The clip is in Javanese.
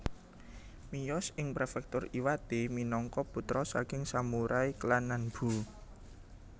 Miyos ing Prefektur Iwate minangka putra saking samurai klan Nanbu